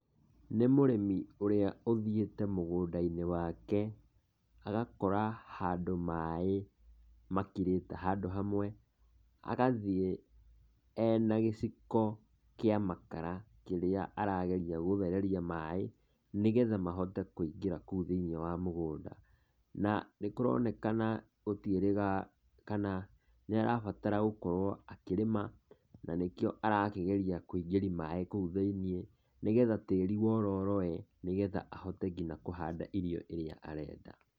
Nĩ mũrĩmi ũrĩa ũthiĩte mũgũnda-inĩ wake agakora handũ maĩ makirĩte handũ hamwe, agathiĩ ena gĩciko kĩa makara kĩrĩa arageria gũthereria maĩ, nĩgetha mahote kũingĩra kũu thĩiniĩ wa mũgũnda, na nĩ kũroneka gũtiĩrĩga kana nĩ arabatara gũkorwo akĩrĩma na nĩkĩo arageria kũingĩria maĩ kũu thĩiniĩ, nĩgetha tĩri wororoe nĩgetha ahote ngina kũhanda irio iria arenda.